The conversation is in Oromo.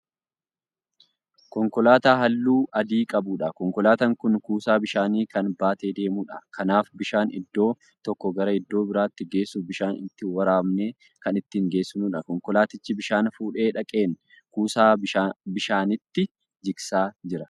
Konkolaataa halluu adii qabuudha. Konkolaataan Kuni kuusaa bishaanii Kan baatee deemuudha. Kanaaf bishaan iddoo tokkoo gara iddoo biraatti geessuuf bishaan itti waraabnee Kan ittiin geessinuudha. Konkolaatichi bishaan fuudhee dhaqeen kuusaa bishaaniittii jigsaa jira.